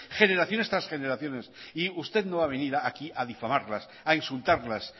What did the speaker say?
generaciones tras generaciones y usted no va a venir aquí a difamarlas a insultarlas